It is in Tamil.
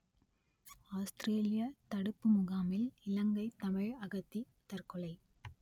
ஆஸ்திரேலியத் தடுப்பு முகாமில் இலங்கைத் தமிழ் அகதி தற்கொலை